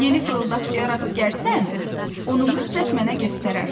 Yeni fırıldaqçıya rast gəlsən, onu mütləq mənə göstərərsən.